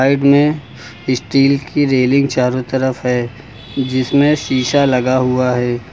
Side में steel की railing चारों तरफ है जिसमें शीशा लगा हुआ है।